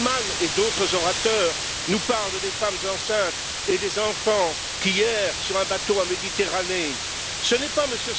Bullmann et d'autres orateurs nous parlent des femmes enceintes et des enfants qui errent sur un bateau en Méditerranée ce n'est pas M.